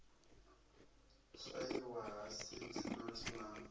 swaiwa ha seed lot na